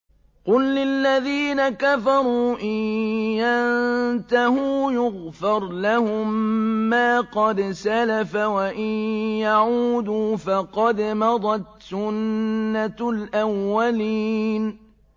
قُل لِّلَّذِينَ كَفَرُوا إِن يَنتَهُوا يُغْفَرْ لَهُم مَّا قَدْ سَلَفَ وَإِن يَعُودُوا فَقَدْ مَضَتْ سُنَّتُ الْأَوَّلِينَ